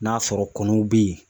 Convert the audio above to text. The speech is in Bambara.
N'a sɔrɔ kɔnɔw be yen